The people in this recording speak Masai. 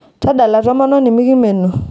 tadala tomononi mekimenu